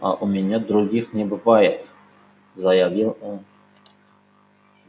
а у меня других не бывает заявил он